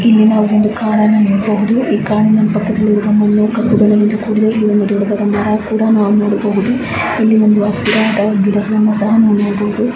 ಇಲ್ಲಿ ಒಂದು ಕಾಡನ್ನ ನೋಡಬಹುದು ಈ ಕಾಡಿನ ಪಕ್ಕದಲ್ಲಿರುವ ಕಂಬವು ಕಪ್ಪು ಬಣ್ಣದಿಂದ ಕೂಡಿದೆ ಇಲ್ಲಿ ನಾವು ಹಸಿರಾದ ಗಿಡಗಳನ್ನು ಸಹ ನಾವು ನೋಡಬಹುದು.